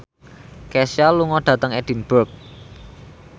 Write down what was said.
Kesha lunga dhateng Edinburgh